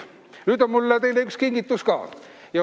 Aga mul on teile üks kingitus ka.